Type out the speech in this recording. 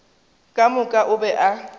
ka moka o be a